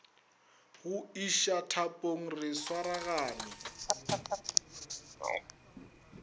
go iša thapong re swaragane